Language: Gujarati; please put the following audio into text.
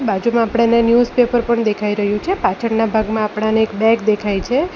બાજુમાં આપણાને ન્યુઝપેપર પણ દેખાઈ રહ્યું છે પાછળના ભાગમાં આપણાને એક બેગ દેખાય છે.